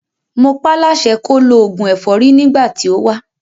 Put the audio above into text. Mo pá láṣẹ kó lo òògùn ẹ̀fọ́rí nígbà tí ó wá.